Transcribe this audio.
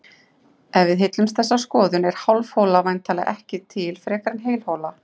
Ef við aðhyllumst þessa skoðun er hálf hola væntanlega ekki til frekar en heil hola.